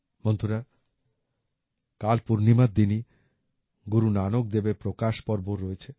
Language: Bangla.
বন্ধুরা কাল পূর্ণিমার দিনই গুরু নানক দেবের প্রকাশ পর্বও রয়েছে